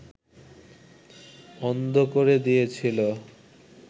অন্ধ করে দিয়েছিল